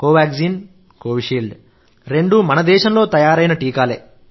Covaxin Covishield రెండూ మన దేశంలో తయారైన టీకాలే